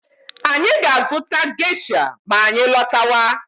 Anyị ga-azụta geisha ma anyị lọtawa.